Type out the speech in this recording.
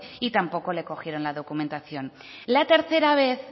y tampoco le cogieron la documentación la tercera vez